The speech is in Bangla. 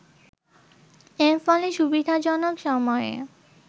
এর ফলে সুবিধাজনক সময়ে